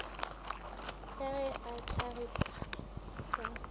ka ge a hlagipwa ka